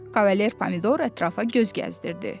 Kavalier Pomidor ətrafa göz gəzdirdi.